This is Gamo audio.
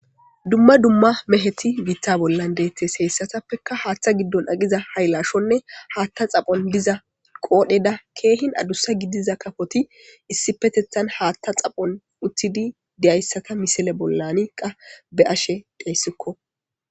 Duma duma meheti bitabolan detes heysatapeka hata gidon eqiza haylashone hata xaphon diza qodhada kehin adusa gidiza kafoti issipetetan hata xaphon utidi diyaysata missile bolan be'ashe daysko.